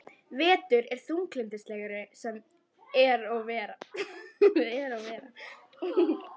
Vetur er þunglyndislegri sem og vera ber.